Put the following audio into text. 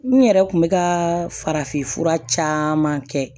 N yɛrɛ kun bɛ ka farafinfura caman kɛ